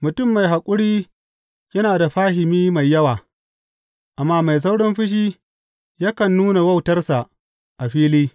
Mutum mai haƙuri yana da fahimi mai yawa, amma mai saurin fushi yakan nuna wautarsa a fili.